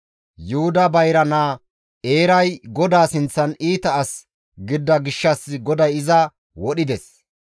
Yuhuda bayra naa Eeray GODAA sinththan iita as gidida gishshas GODAY iza wodhides.